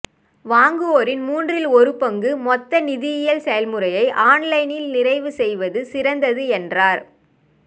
வாங்குவோரின் மூன்றில் ஒரு பங்கு மொத்த நிதியியல் செயல்முறையை ஆன்லைனில் நிறைவு செய்வது சிறந்தது என்றார்